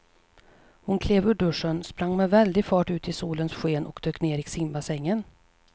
Hon klev ur duschen, sprang med väldig fart ut i solens sken och dök ner i simbassängen.